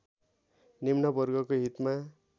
निम्न वर्गको हितमा